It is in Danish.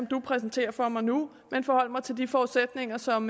præsenterer for mig nu men forholde mig til de forudsætninger som